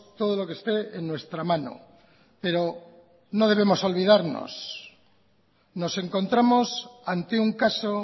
todo lo que esté en nuestra mano pero no debemos olvidarnos nos encontramos ante un caso